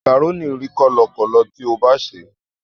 Màkàrónì rí kọ́lọkọ̀lọ tí o bá sèé.